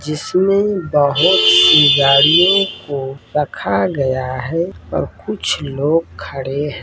जिसमें बहुत ही गाड़ियों को रखा गया है और कुछ लोग खड़े हैं।